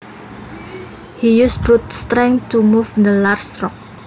He used brute strength to move the large rock